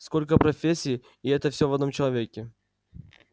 сколько профессий и это всё в одном человеке